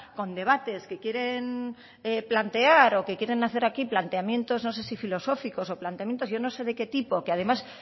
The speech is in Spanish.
con debates que quieren plantear o que quieren hacer aquí planteamientos no sé si filosóficos o planteamientos yo no sé de qué tipo que además